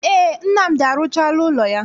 Ee, Nnamdi arụchaala ụlọ ya.